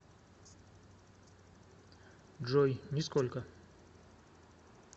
джой нисколько